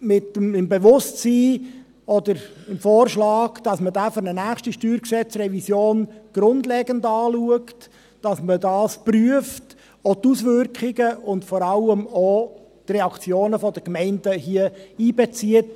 im Bewusstsein, oder mit dem Vorschlag, dass man diesen bei einer nächsten StG-Revision grundlegend anschaut, dass man dies prüft, auch die Auswirkungen, und vor allem auch die Reaktionen der Gemeinden einbezieht.